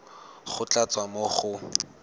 go tla tswa mo go